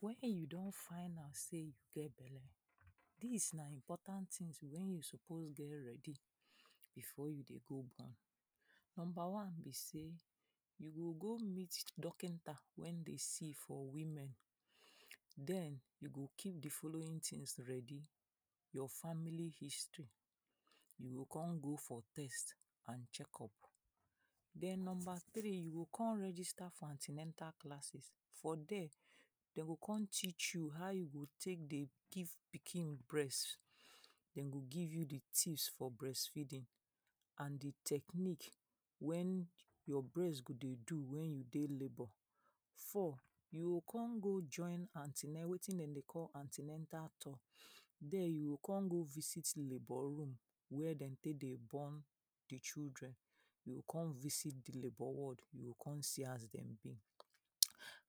wen you don find out sey you get belle, dis na important tins wey you suppose get ready before you dey go born. Number wan be sey you go go meet dokinta wen dey see for women. Den you go keep de following tins ready; your family history, you go kon go for test and check-up. Den number three, you go kon register for an ten atal classes, for der dey go kon teach you how you go take dey give pikin breast. Den go give you de tips for breastfeeding and de technique wen your breast go dey do wen you dey labour. Four, you gokon go join an ten a wetin dem dey call an ten atal tok, der you go kon go visit labour room where dem take dey born de children, come visit de labour ward you go kon see as dem be.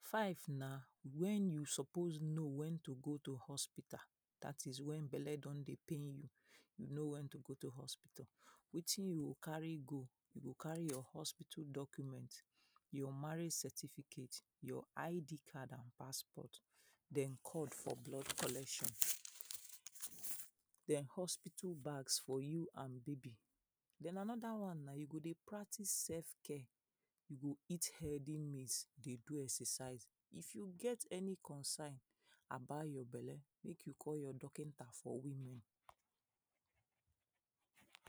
Five na wen you suppose know wen to go to hospital, dat is, when belle don dey pain you, you know wen to go to hospital. Wetin you go carry go, you go carry your hospital document, your marriage certificate, your ID? identification card and passport den cord for blood collection. den hospital bags for you and baby. Den anoda wan na you go dey practice self care, you go eat healthy meals, dey do exercise, if you get any concern about your belle make you call your dokinta for women.